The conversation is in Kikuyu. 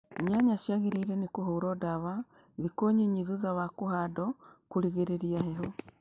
Nyanya ciagĩrĩirwo nĩ kũhũrwo ndawa thĩkũ nyinyi thutha wa kuhandwo kũrigĩrĩria heho.